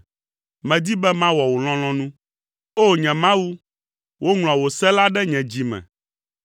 Medi be mawɔ wò lɔlɔ̃nu, O! Nye Mawu, woŋlɔ wò se la ɖe nye dzi me.”